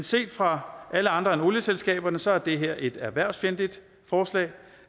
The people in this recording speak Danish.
set fra alle andre end olieselskabernes side er det her et erhvervsfjendtligt forslag